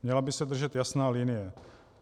Měla by se držet jasná linie.